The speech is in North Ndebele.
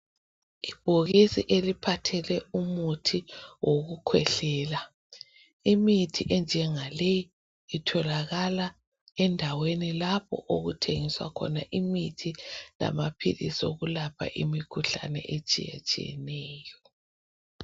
Ibhokisi eliphathele umuthi wokukhwehlela. Imithi enjengaleyi itholakala endaweni lapho okuthengiswa khona imithi lamaphilisi okulapha imikhuhlane etshiyatshiyeneyo.